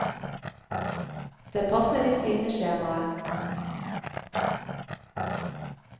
Det passer ikke inn i skjemaet.